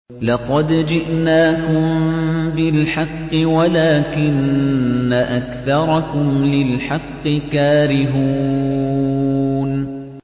لَقَدْ جِئْنَاكُم بِالْحَقِّ وَلَٰكِنَّ أَكْثَرَكُمْ لِلْحَقِّ كَارِهُونَ